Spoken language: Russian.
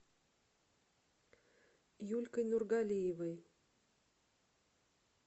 юлькой нургалиевой